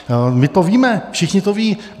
My to víme, všichni to vědí.